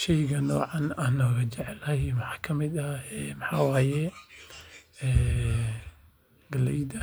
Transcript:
Sheygani noocan ugu jeclahay waxaa waye galeyda